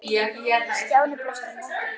Stjáni brosti á móti.